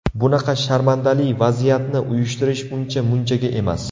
Bunaqa sharmandali vaziyatni uyushtirish uncha munchaga emas.